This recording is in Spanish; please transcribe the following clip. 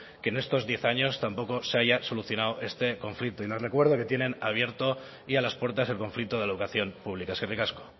que en estos diez años tampoco se haya solucionado este conflicto y les recuerdo que tienen abiertas ya las puertas del conflicto de la educación pública eskerrik asko